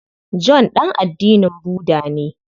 John ɗan addinin Budda ne.